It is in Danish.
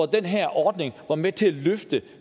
den her ordning var med til at løfte